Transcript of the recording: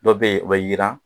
Dɔ bɛ yen o bɛ yiran